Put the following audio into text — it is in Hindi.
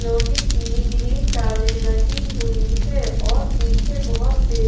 लोहे की ग्रीन जाली लगी हुई है और पीछे बहोत से--